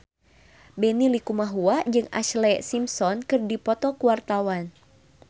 Benny Likumahua jeung Ashlee Simpson keur dipoto ku wartawan